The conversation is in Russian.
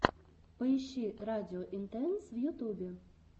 поищи радио интенс в ютюбе